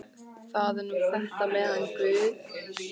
Það er nú þetta með hann guð.